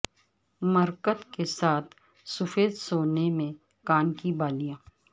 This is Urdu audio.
مرکت کے ساتھ سفید سونے میں کان کی بالیاں